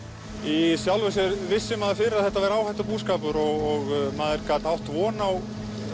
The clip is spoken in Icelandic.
í sjálfu sér vissi maður fyrir að þetta væri áhættubúskapur og maður gat átt von á